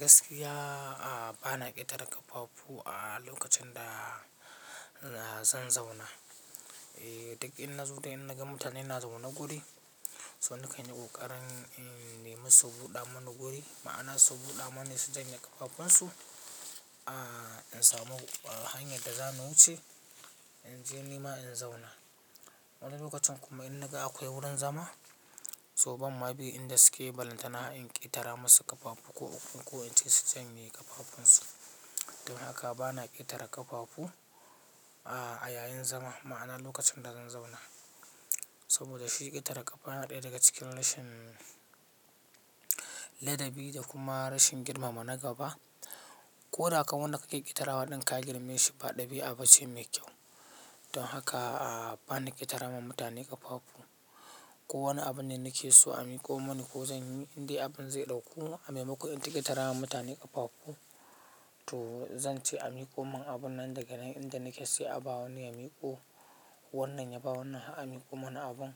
Gaskiya ba na ƙetare ƙafafu a lokacin da zan zauna eh. Duk in na zo da in na ga mutane na zaune guri, so na kai ni ƙoƙarin in naimi su buɗa mini guri. Ma'ana su buɗa mini su janye ƙafafunsu in samu hanyar da za ni wuce in je nima in zauna. Wani lokacin kuma in na ga akwai wurin zama, so ban ma bi inda suke balantana in ƙetara masu ƙafafu ko uku ko inci su janye ƙafafunsu. Don haka ba na ƙetare ƙafafu a yayin zama, ma'ana lokacin da zan zauna. Saboda shi ƙetare ƙafa yana ɗaya daga cikin rashin ladabi da kuma rashin girmama na gaba. Ko da kan wanda ka ke ƙetarewa ɗin ka girme shi ba ɗabi'a ba ce mai kyau. Don haka ba na ƙetara ma mutane ƙafafu. Ko wani abun ne nake so a miƙo mini ko zan yi indai abun zai ɗauku, a maimako in ta ƙetara ma mutane ƙafafu to zan ce a miƙo min abun nan daga nan inda nake sai a ba wani ya miƙo. Wannan ya ba wannan har a miƙo mini abun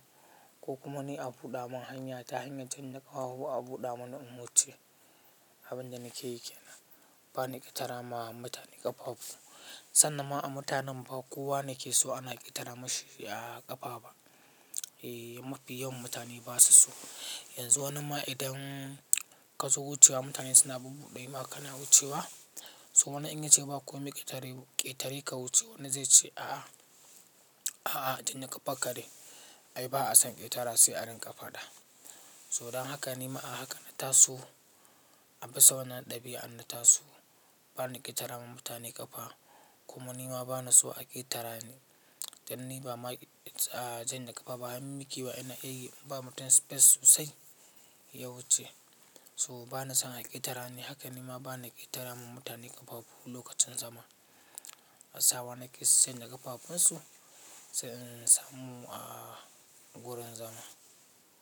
ko kuma ni a buɗa min hanya ta hanyar idan kafafu a buɗa mini in wuce abun da nake yake. Ba na ƙetara ma mutane ƙafafu. Sannan ma a mutanen ba kowa ne ke so ana ƙetara mashi ƙafa ba. Mafi yawan mutane ba su so. Yanzu wani ma idan ka zo wucewa mutane suna buɓuɗa ma kana wucewa, so na in ce ba kome ƙetare ka wuce, wani zai ce a'a, a'a tunda ka fakare ai ba a san ƙetara sai a rinƙa faɗa. So don haka nima a haka na taso, abisa wannan ɗabi'an na taso. Ba na ƙetara ma mutane ƙafa kuma nima ba na so a ƙetara ni. Dan ni ba ma janye kafa ba, har mikewa ina iya yi, naba mutum space sosai ya wuce. So ba na son a ƙetara ni, haka nima ba na ƙetara ma mutane ƙafafu lokacin zama. Sawa nake su janye ƙafafunsu sai in samu gurin zama.